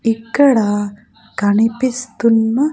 ఇక్కడ కనిపిస్తున్న --